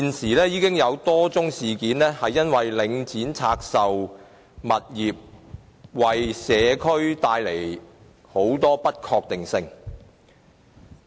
現時已有多宗事件顯示，領展拆售物業已為社區帶來很多不確定性。